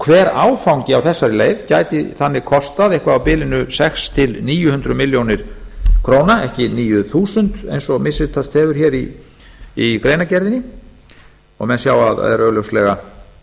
hver áfangi á þessari leið gæti þannig kostað eitthvað á bilinu sex hundruð til níu hundruð milljóna króna ekki níu þúsund eins og misritast hefur í greinargerðinni og menn sjá að er augljóslega